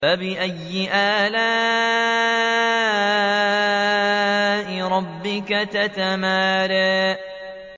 فَبِأَيِّ آلَاءِ رَبِّكَ تَتَمَارَىٰ